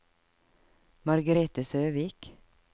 Margrethe Søvik